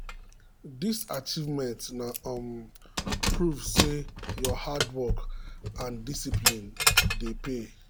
this achievement na um proof say your hard work and discipline dey pay.